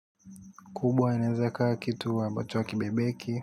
Kubwa inaweza ikawa kitu ambacho hakibebeki.